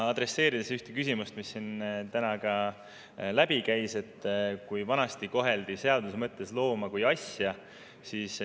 Siin käis täna läbi teema, et vanasti koheldi seaduse mõttes looma kui asja.